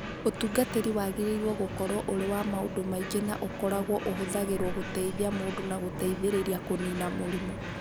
Ũtungatĩri wagĩrĩirũo gũkorũo ũrĩ wa maũndũ maingĩ na ũkoragwo ũhũthagĩrũo gũteithia mũndũ na gũteithĩrĩria kũnina mũrimũ